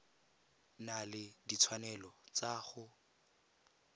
na le ditshwanelo tsa go